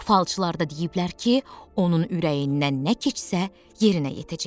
Falçılar da deyiblər ki, onun ürəyindən nə keçsə yerinə yetəcək.